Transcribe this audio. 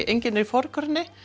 engin í forgrunni